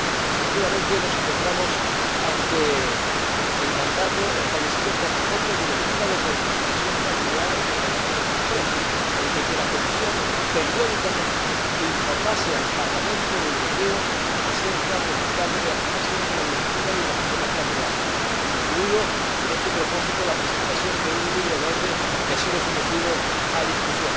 Porque, efectivamente, nos encontramos ante el mandato establecido por la propia Directiva de reunificación familiar en el año 2003 que la Comisión informase periódicamente al Parlamento Europeo acerca del estado de aplicación de la Directiva y de los problemas planteados, incluida, en este mandato, la presentación de un Libro Verde, que ha sido sometido a debate.